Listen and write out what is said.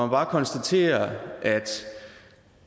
bare konstatere at